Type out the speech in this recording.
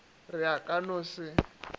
re a ka no se